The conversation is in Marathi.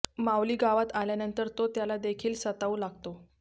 माऊली गावात आल्यानंतर तो त्याला देखील सतावू लागतो